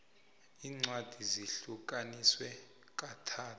incwadi zihlukaniswe kathathu